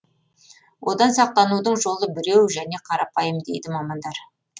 одан сақтанудың жолы біреу және қарапайым дейді мамандар